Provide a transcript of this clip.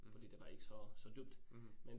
Mh. Mh